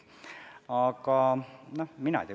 Mina seda ei tea.